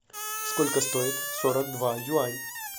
сколько стоит сорок два юань